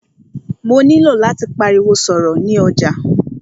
Mó nilò láti pariwo sọ̀rọ̀ ni ọjà.